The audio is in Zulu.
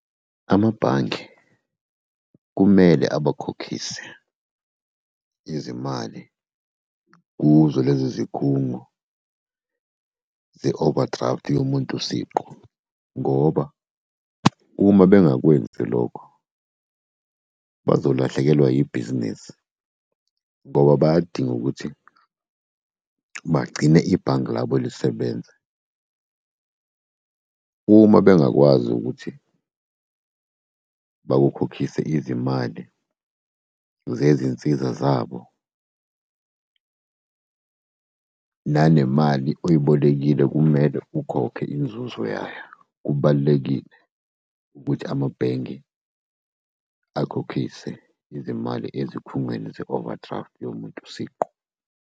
Amabhange kumele abakhokhise izimali kuzo lezi zikhungo ze-overdraft yomuntu siqu. Ngoba uma bengakwenzi lokho bazolahlekelwa yibhizinisi, ngoba bayadinga ukuthi bagcine ibhange labo lisebenza. Uma bengakwazi ukuthi bakukhokhise izimali zezinsiza zabo nanemali oyibolekile, kumele ukhokhe inzuzo yayo. Kubalulekile ukuthi amabhenge akhokhise izimali ezikhungweni ze-overdraft yomuntu siqu.